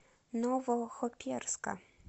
новохоперска